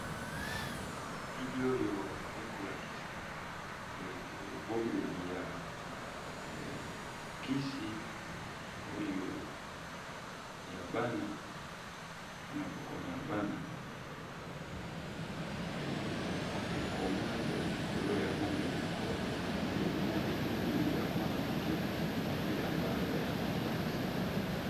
Elili oyo eza kolakisa ebombeli ya kisi ya bana ekoma eza likolo nango na elili ya mwana muke elati elamba ya langi ya mosaka.